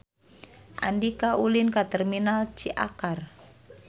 Andika ulin ka Terminal Ciakar